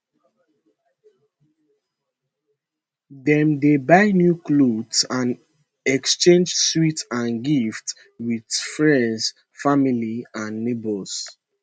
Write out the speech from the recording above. dem dey buy new clothes and exchange sweets and gifts wit friends families and neighbours